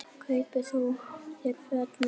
Kaupi þú þér notuð föt?